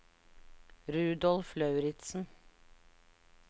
Rudolf Lauritsen